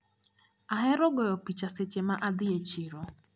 Ahero goyo picha seche ma adhi e chiro.